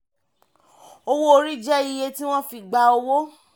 owó orí jẹ́ iye tí wọ́n fi gba owó.